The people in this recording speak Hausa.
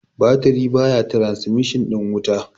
batirin baya trasmishin ɗin wuta